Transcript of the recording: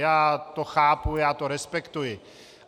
Já to chápu, já to respektuji.